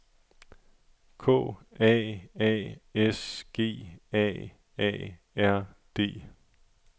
K A A S G A A R D